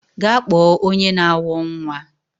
Gaa kpọọ onye na awọ nwa!